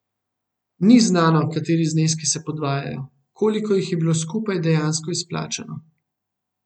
Ni znano, kateri zneski se podvajajo, koliko je bilo skupaj dejansko izplačano.